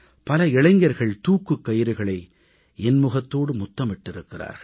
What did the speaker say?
பல இளைஞர்கள் தூக்குக் கயிறுகளை இன்முகத்தோடு முத்தமிட்டிருக்கிறார்கள்